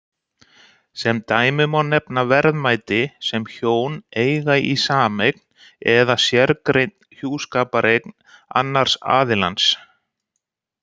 Sem dæmi má nefna verðmæti sem hjón eiga í sameign eða sérgreind hjúskapareign annars aðilans.